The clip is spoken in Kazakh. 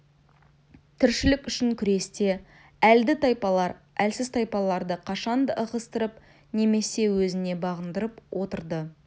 тіршілік үшін күресте әлді тайпалар әлсіз тайпаларды қашанда ығыстырып немесе өзіне бағындырып отырды